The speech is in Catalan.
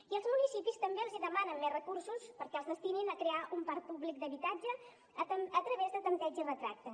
i als municipis també els demanen més recursos perquè els destinin a crear un parc públic d’habitatge a través de tanteig i retracte